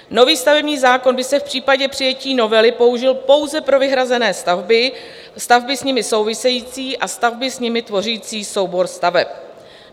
Nový stavební zákon by se v případě přijetí novely použil pouze pro vyhrazené stavby, stavby s nimi související a stavby s nimi tvořící soubor staveb.